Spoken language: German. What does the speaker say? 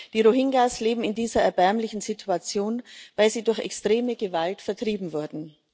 Die Rohingya leben in dieser erbärmlichen Situation, weil sie durch extreme Gewalt vertrieben wurden.